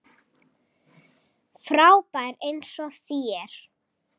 Frábær eins og þér.